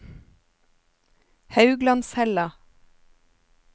Hauglandshella